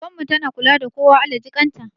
Goggon mu tana kula da kowa, Allah jikan ta